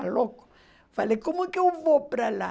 louco...Falei, como é que eu vou para lá?